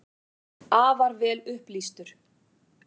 Afar vel upplýstur.